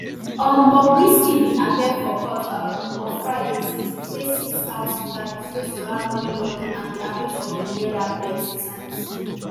um bobriskybin appear for court um on friday to to face six count charges wey surround money laundering and di abuse of di naira plenti times